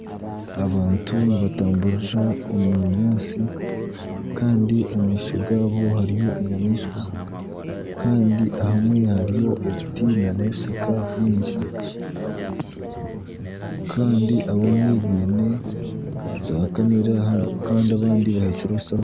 abantu nibatamburira omu binyaatsi kandi omu maisho gaabo hariyo enyamaishwa kandi ahamwe hariyo ebinti n'ebishaka byingi kandi abamwe baine zaakamera kandi abandi bahekire ebishaho